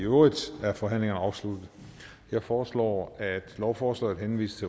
i øvrigt er forhandlingen afsluttet jeg foreslår at lovforslaget henvises